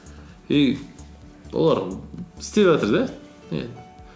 и олар істеп жатыр да